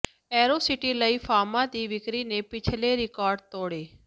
ਏਅਰੋਸਿਟੀ ਲਈ ਫਾਰਮਾਂ ਦੀ ਵਿਕਰੀ ਨੇ ਪਿਛਲੇ ਰਿਕਾਰਡ ਤੋੜੇ